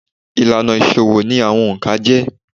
Ìlànà ìṣòwò ni àwọn òǹkà jẹ́.